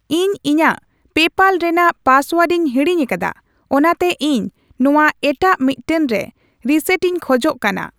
ᱤᱧ ᱤᱧᱟᱜ ᱯᱮᱯᱟᱞ ᱨᱮᱱᱟᱜ ᱯᱟᱥᱳᱣᱟᱨᱰᱤᱧ ᱦᱤᱲᱤᱧ ᱟᱠᱟᱫᱟ ᱚᱱᱟᱛᱮ ᱤᱧ ᱱᱚᱣᱟ ᱮᱴᱟᱜ ᱢᱤᱫᱴᱟᱝ ᱨᱮ ᱨᱤᱥᱮᱴᱤᱧ ᱠᱷᱚᱡ ᱠᱟᱱᱟ ᱾